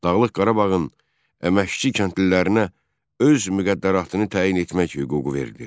Dağlıq Qarabağın əməkçi kəndlilərinə öz müqəddəratını təyin etmək hüququ verilir.